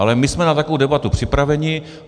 Ale my jsme na takovou debatu připraveni.